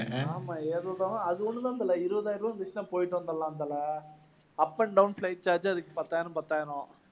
ஆமாம் அது ஒண்ணு தான் தல இருபதாயிரம் ரூபாய் இருந்திருச்சின்னா போயிட்டு வந்துடலாம் தல. up and down flight charge அதுக்கு பத்தாயிரம், பத்தாயிரம்.